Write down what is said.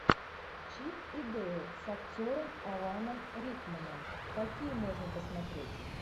чип и дейл с актером аланом рикманом какие можно посмотреть